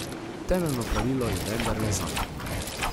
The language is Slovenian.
Temeljno pravilo je vendarle zakon.